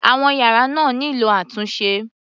Àwọn yàrá náà nílò àtúnṣe.